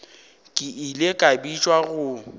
ke ile ka bitšwa go